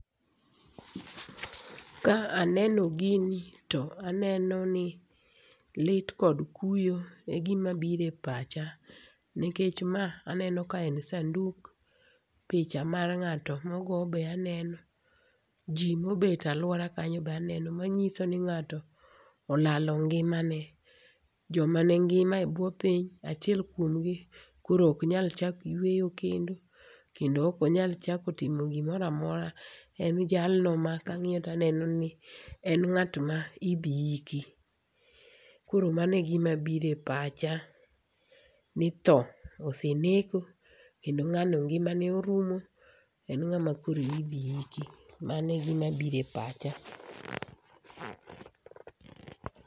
Ka aneno gini to aneno ni lit kod kuyo e gimabiro e pacha. Nikech ka aneno ka en sanduk, picha mar ng'ato ma ogo bende aneno, ji mobet e aluora kanyo be aneno manyiso ni ng'ato olalo ngimane. Jomane ngima ebwo piny, achiel kuom gi koro ok nyal chak yueyo kendo ok nyal chako timo gimoro amora. En jalno ma kang'iyo to en ng'at ma idhi iki. Koro mano e gima biro e pacha ni tho osenek ngimane orumo, kendo en ng'ano ma idhi iki